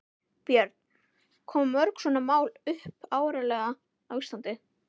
Björn: Koma mörg svona mál upp árlega á Íslandi?